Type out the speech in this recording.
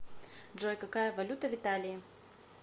джой какая валюта в италии